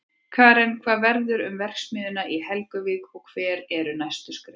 Karen, hvað verður um verksmiðjuna í Helguvík og hver eru næstu skref?